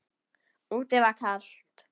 Úti var kalt.